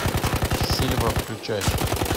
сильва включай